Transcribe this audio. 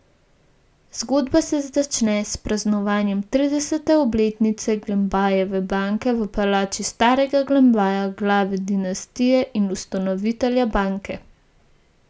Zgodba se začne s praznovanjem tridesete obletnice Glembajeve banke, v palači starega Glembaja, glave dinastije in ustanovitelja banke.